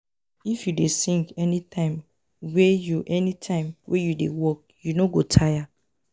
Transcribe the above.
If you dey sing anytime wey you anytime wey you dey work, you no go tire.